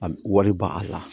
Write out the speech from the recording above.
A wari ba a la